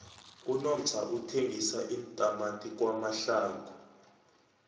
unomsa uthengisa iintamati kwamhlanga